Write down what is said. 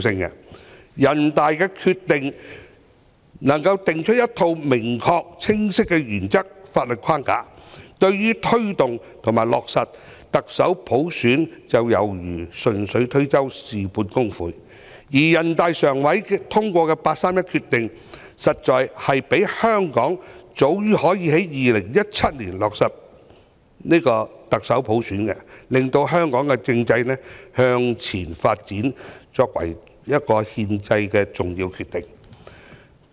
政府若能就人大常委會的決定訂出一套明確、清晰的原則和法律框架，對於推動和落實特首普選便猶如順手推舟，事半功倍，而人大常委會的八三一決定，實在可讓香港早於2017年落實特首普選，令香港的政制向前發展，那是一個重要的憲制決定。